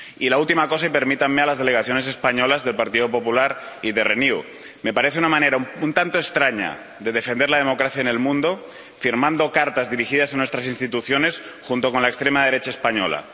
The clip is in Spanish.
Y una última cosa —permítanme— a las delegaciones españolas del Partido Popular y de Renew me parece una manera un tanto extraña de defender la democracia en el mundo firmar cartas dirigidas a nuestras instituciones junto con la extrema derecha española